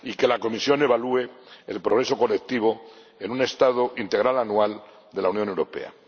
y que la Comisión evalúe el progreso colectivo en un estado integral anual de la Unión Europea.